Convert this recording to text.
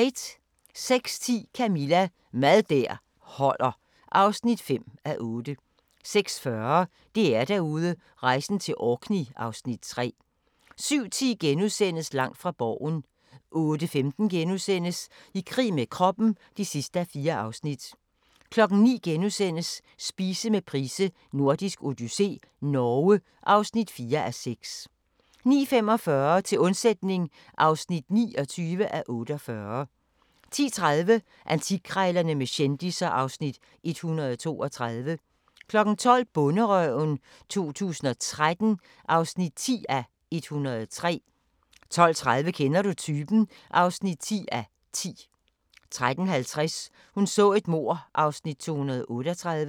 06:10: Camilla – Mad der holder (5:8) 06:40: DR-Derude: Rejsen til Orkney (Afs. 3) 07:10: Langt fra Borgen * 08:15: I krig med kroppen (4:4)* 09:00: Spise med Price: Nordisk odyssé - Norge (4:6)* 09:45: Til undsætning (29:48) 10:30: Antikkrejlerne med kendisser (Afs. 132) 12:00: Bonderøven 2013 (10:103) 12:30: Kender du typen? (10:10) 13:50: Hun så et mord (238:267)